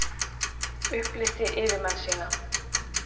Upplýsti yfirmenn sína